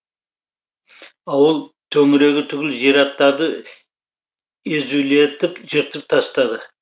ауыл төңірегі түгілі зираттарды езулетіп жыртып тастады